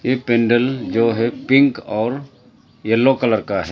यह पंडल जो है पिंक और येलो कलर का है।